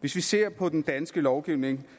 hvis vi ser på den danske lovgivning